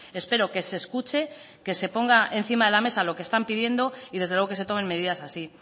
espero que se escuche que se ponga encima de la mesa lo que están pidiendo y desde luego que se tomen medidas así